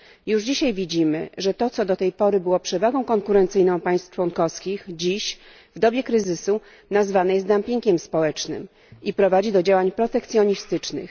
Już dzisiaj widzimy, że to, co do tej pory było przewagą konkurencyjną państw członkowskich, dziś, w dobie kryzysu, nazywane jest dumpingiem społecznym i prowadzi do działań protekcjonistycznych.